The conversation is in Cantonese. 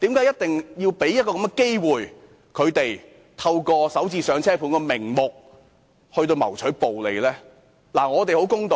因為要讓他們有機會透過"港人首置上車盤"的名目謀取暴利。